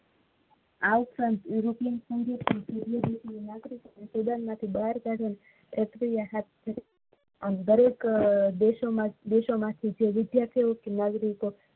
આ ઉપરાંત europe નાગરિકો ને student માંથી બહાર કાઢવા દરેક દેશો માંથી જે વિદ્યાર્થી કે નાગરિકો